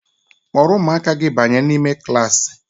Kpọrọ ụmụaka gị banye n'ime klaasị!